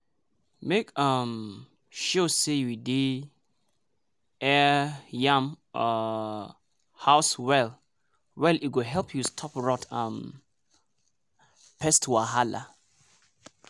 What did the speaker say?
make um sure say you dey air yam um house well-well e go help to stop rot and um pest wahala.